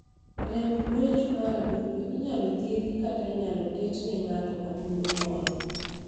Rem guecho mar adundo inyalo thiedhi kata inyalo ketne ne ng'ato adundo moro.